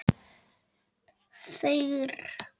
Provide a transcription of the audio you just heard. Ég vil vera einn.